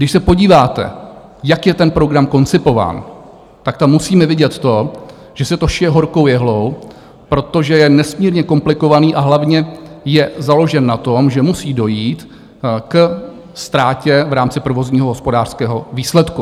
Když se podíváte, jak je ten program koncipován, tak tam musíme vidět to, že se to šije horkou jehlou, protože je nesmírně komplikovaný a hlavně je založen na tom, že musí dojít ke ztrátě v rámci provozního hospodářského výsledku.